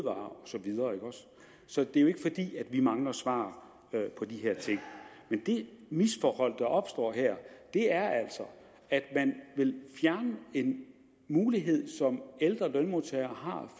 og så videre så det er jo ikke fordi vi mangler svar på de her ting men det misforhold der opstår her er at man vil fjerne en mulighed som ældre lønmodtagere